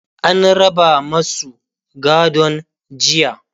an raba masu gadon jiya.